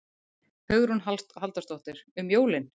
Hugrún Halldórsdóttir: Um jólin?